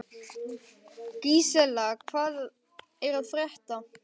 Gísela, hvað er að frétta?